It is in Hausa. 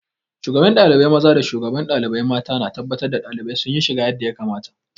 Shugaban ɗalibai maza da shugaban ɗalibai mata na tabbatar da ɗalibai sun yi shiga yadda ya kamata.